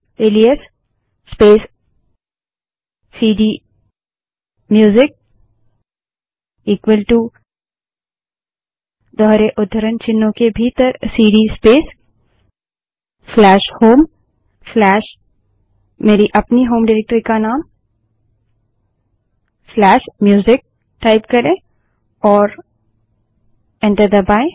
alias space cd music equal to दोहरे उद्धरण चिन्हों के भीतर सीडी स्पेस होममेरी अपनी होम डिरेक्टरी का नामम्यूजिक टाइप करें और एंटर दबायें